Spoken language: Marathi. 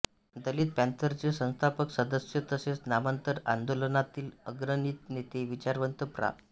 दलित पॅंथरचे संस्थापक सदस्य तसेच नामांतर आंदोलनातील अग्रणी नेते विचारवंत प्रा